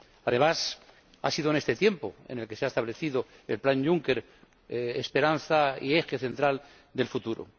Además, ha sido en este tiempo en el que se ha establecido el plan Juncker, esperanza y eje central del futuro.